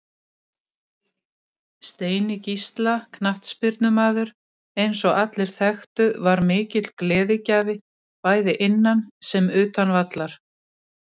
Ef að þú átt eða veist um góðar myndir endilega sendu þá tölvupóst á okkur.